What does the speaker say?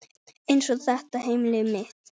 Eins og þetta heimili mitt!